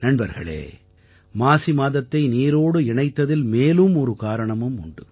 நண்பர்களே மாசி மாதத்தை நீரோடு இணைத்ததில் மேலும் ஒரு காரணமும் உண்டு